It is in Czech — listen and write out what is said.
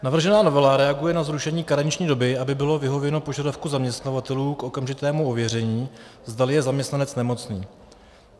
Navržená novela reaguje na zrušení karenční doby, aby bylo vyhověno požadavku zaměstnavatelů k okamžitému ověření, zdali je zaměstnanec nemocný.